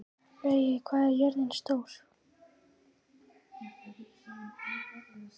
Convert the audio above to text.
Laugey, hvað er jörðin stór?